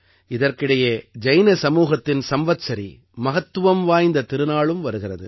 இதற்கிடையே ஜைன சமூகத்தின் சம்வத்சரி மகத்துவம் வாய்ந்த திருநாளும் வருகிறது